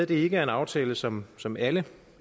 det ikke er en aftale som som alle